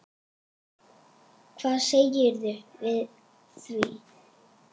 Hvað segirðu við því?